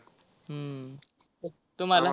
हम्म तुम्हाला?